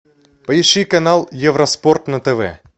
поищи канал евроспорт на тв